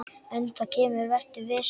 En það kemur, vertu viss.